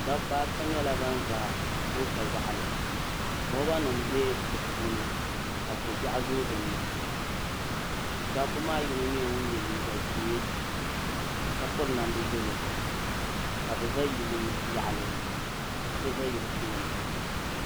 Dabba ata nyɛla ban za goota yaɣali loba nima be dipuuni ka kobiɛɣu zoo dinni dabba maa yino yela liiga ʒee ka piri namdi yelo ka bɛ za yili yaɣali ka so za yili tooni.